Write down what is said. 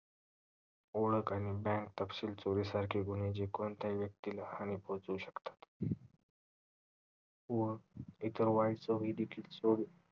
ओळख आणि bank तपशील चोरीसारखी गुन्हे जे कोणत्याही व्यक्तिला हानी पोहोचवू शकतात व इतर वाईट सवयी देखील